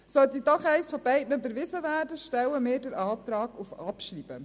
Sollte doch eines von beiden überwiesen werden, stellen wir den Antrag auf Abschreibung.